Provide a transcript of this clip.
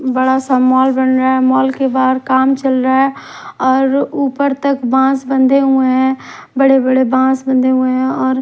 बड़ा सा मॉल बन रहा है मॉल के बाहर काम चल रहा है और ऊपर तक बांस बंधे हुए हैं बड़े-बड़े बांस बंधे हुए हैं और--